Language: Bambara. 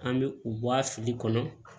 An bɛ u bɔ a fili kɔnɔ